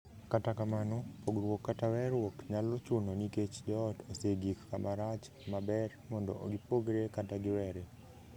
Kata kamano, pogruok kata weeruok nyalo chuno nikech joot osegik kama rach ma ber mondo gipogre kata giwere.